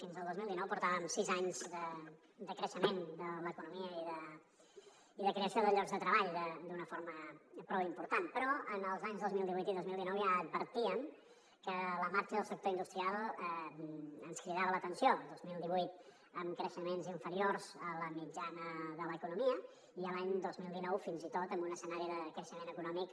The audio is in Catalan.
fins al dos mil dinou portàvem sis anys de creixement de l’economia i de creació de llocs de treball d’una forma prou important però els anys dos mil divuit i dos mil dinou ja advertíem que la marxa del sector industrial ens cridava l’atenció el dos mil divuit amb creixements inferiors a la mitjana de l’economia i l’any dos mil dinou fins i tot amb un escenari de creixement econòmic